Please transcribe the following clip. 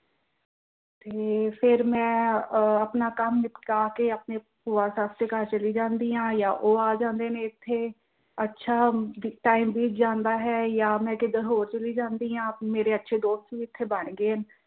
ਤੇ ਫਿਰ ਮੈਂ ਅਹ ਕੰਮ ਨਿਪਟਾ ਕਿ ਆਪਣੇ ਭੂਆ ਸੱਸ ਦੇ ਘਰ ਚਲੀ ਜਾਂਦੀ ਹਾਂ ਜਾਂ ਉਹ ਆ ਜਾਂਦੇ ਨੇ ਏਥੇ ਅੱਛਾ time ਬੀਤ ਜਾਂਦਾ ਹੈ ਜਾਂ ਮੈਂ ਕਿਧਰ ਹੋਰ ਚਲੀ ਜਾਂਦੀ ਹਾਂ ਮੇਰੇ ਅੱਛੇ ਦੋਸਤ ਵੀ ਇੱਥੇ ਬਣ ਗਏ ਹਨ।